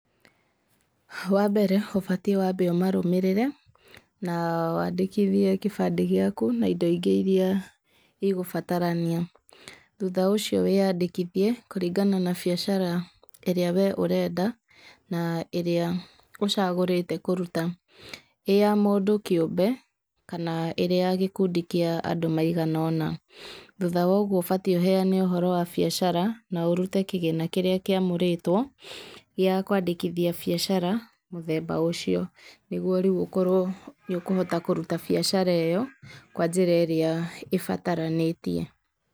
Wambere ũbatie wambe ũmarũmĩrĩre, na wandĩkithie gĩbandi na indo ingĩ iria igũbatarania, thutha ũcio wĩyandĩkithie kũringana na biacara ĩrĩa we ũrenda, na ĩrĩa ũcagũrĩte kũruta, ĩ ya mũndũ kĩũmbe kana ĩrĩ ya gĩkundi kĩa andũ maigana ũna, thutha wa ũguo ũbatiĩ ũheane ũhoro wa biacara, na ũrute kĩgĩna kĩrĩa kĩamũrĩtwo, gĩa kwandĩkithia biacara mũthemba ũcio, nĩguo rĩu ũkorwo nĩ ũkũhota kũruta biacara ĩyo kwa njĩra ĩrĩa ĩbataranĩtie.